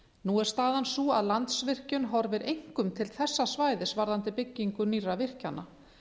nú er staðan sú að landsvirkjun horfir einkum til þessa svæðis varðandi byggingu nýrra virkjana